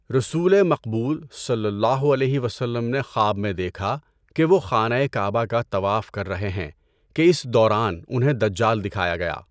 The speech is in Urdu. رسولِ مقبول صلی اللہ علیہ وسلم نے خواب میں دیکھا کہ وہ خانہ کعبہ کا طواف کر رہے ہیں کہ اس دوران انہیں دجال دکھایا گیا۔